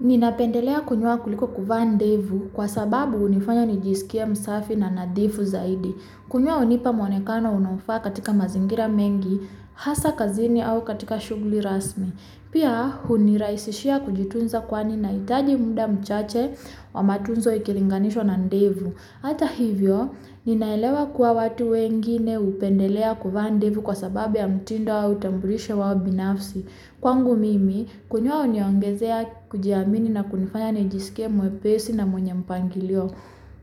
Ninapendelea kunyoa kuliko kuvaa ndevu kwa sababu unifanya nijisikie msafi na nadhifu zaidi. Kunyoa unipa mwonekano unaofaa katika mazingira mengi, hasa kazini au katika shuguli rasmi. Pia huniraisishia kujitunza kwani naitaji muda mchache wa matunzo ikilinganishwa na ndevu. Ata hivyo, ninaelewa kuwa watu wengine upendelea kuvaa ndevu kwa sababu ya mutindo au utambulisho wao binafsi. Kwangu mimi, kunyoa huniongezea kujiamini na kunifanya nijisikie mwepesi na mwenye mpangilio.